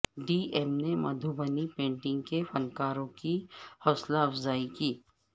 D M نے Madhubani painting کے فنکاروں کی حوصلہ افزائی کی